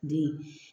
Den